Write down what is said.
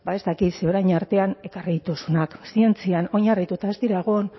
ez dakit ze orain artean ekarri dituzunak zientzian oinarrituta ez dira egon